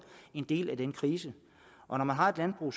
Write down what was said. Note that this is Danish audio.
en del af denne krise og når man har et landbrug